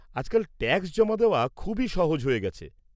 আজকাল ট্যাক্স জমা দেওয়া খুবই সহজ হয়ে গেছে।